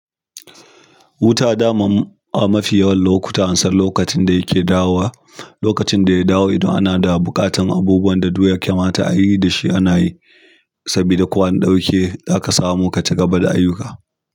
Wuta dama a mafi yawan lokuta, ansan lokacin da yake dawowa. Lokacin da ya dawo idan ana da buƙatar abubuwan da duk ya kamata ayi da shi anayi sabida ko an ɗauke zaka samu ka ci gaba da ayyuka.